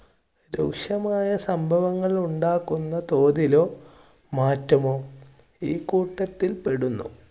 രൂക്ഷമായ സംഭവങ്ങൾ ഉണ്ടാക്കുന്ന തോതിലോ, മാറ്റമോ ഈ കൂട്ടത്തിൽ പെടുന്നു.